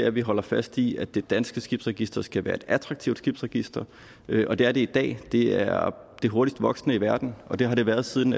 at vi holder fast i at det danske skibsregister skal være et attraktivt skibsregister og det er det i dag det er det hurtigst voksende i verden og det har det været siden